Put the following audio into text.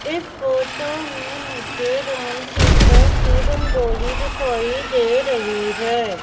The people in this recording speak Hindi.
इस फोटो में मुझे राम सीता की रंगोली दिखाई दे रही है।